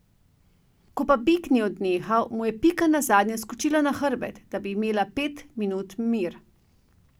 Ko pa bik ni odnehal, mu je Pika nazadnje skočila na hrbet, da bi imela pet minut mir.